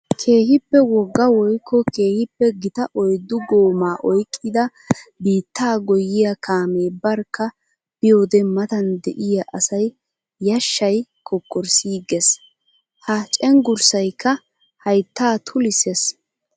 Keehippe wogga woykko keehippe gita oyddu gooma oyqqidda biitta goyiya kaame barkka biyodde matan de'iya asaa yashay kokkorssigees. Ha cenggurssaykka haytta tullisees.